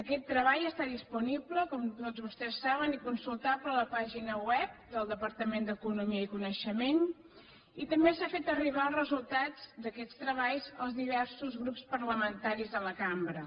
aquest treball està disponible com tots vostès saben i consultable a la pàgina web del departament d’eco·nomia i coneixement i també s’han fet arribar els re·sultats d’aquests treballs als diversos grups parlamen·taris de la cambra